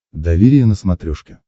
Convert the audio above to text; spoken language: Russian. доверие на смотрешке